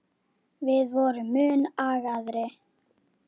Við vorum mun agaðri.